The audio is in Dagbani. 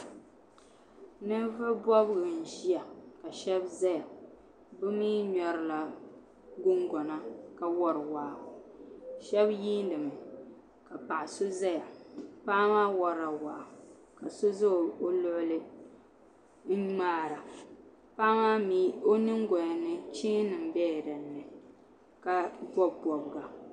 Ninvuɣu bobgu n ʒiya ka shab ʒɛya bi mii ŋmɛrila gungona ka wori waa shab yiindimi ka paɣa so ʒɛya paɣa maa worila waa ka so ʒɛ o luɣuli n ŋmaara paɣa maa mii o nyingoya ni cheeni nim biɛla dinni ka bob bobga